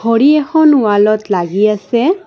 ঘড়ী এখন ৱালত লাগি আছে।